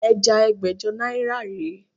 Ẹja ẹgbẹ́jọ náírà rè é